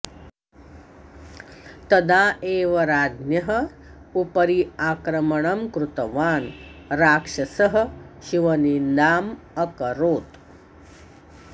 तदा एव राज्ञः उपरि आक्रमणं कृतवान् राक्षसः शिवनिन्दाम् अकरोत्